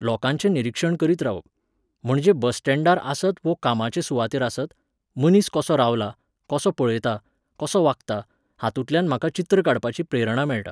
लोकांचें निरिक्षण करीत रावप. म्हणजे बस स्टँडार आसत वो कामाचे सुवातेर आसत, मनीस कसो रावला, कसो पळयता, कसो वागता, हातूंतल्यान म्हाका चित्र काडपाची प्रेरणा मेळटा